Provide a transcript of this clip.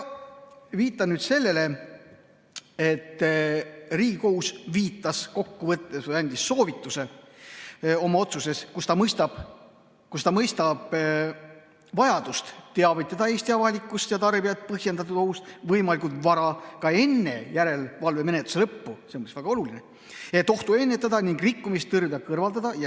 Viitan nüüd sellele, et Riigikohus viitas või andis oma otsuses soovituse, et ta mõistab vajadust teavitada Eesti avalikkust ja tarbijaid põhjendatud ohust võimalikult vara, ka enne järelevalvemenetluse lõppu – see on väga oluline –, et ohtu ennetada ning rikkumist tõrjuda ja see kõrvaldada.